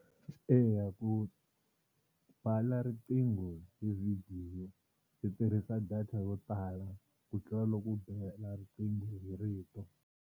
Eya ku bela riqingho hi vhidiyo swi tirhisa data yo tala ku tlula loko u bela riqingho hi rito.